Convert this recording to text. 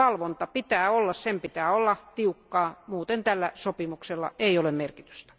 Valvontaa pitää olla ja sen pitää olla tiukkaa, muuten tällä sopimuksella ei ole merkitystä.